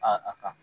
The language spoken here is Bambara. Aa a ka